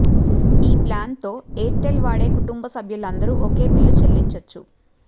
ఈ ప్లాన్తో ఎయిర్టెల్ వాడే కుటుంబ సభ్యులందరూ ఒకే బిల్లు చెల్లించొచ్చు